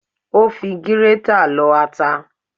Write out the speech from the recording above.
Ó fi gírétà lọ ata